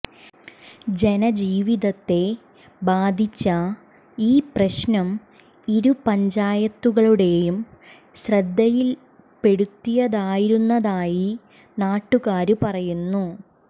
ജനജീവിതത്തെ ബാധിച്ച ഈ പ്രശ്നം ഇരു പഞ്ചായത്തുകളുടെയും ശ്രദ്ധയില്പെടുത്തിയിരുന്നതായി നാട്ടുകാര് പറയുന്നു